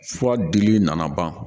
Fura dili nana ban